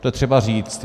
To je třeba říct.